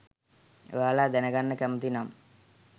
ඔයාල දැනගන්න කැමති නම්